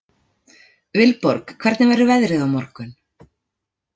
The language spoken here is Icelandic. Vilborg, hvernig verður veðrið á morgun?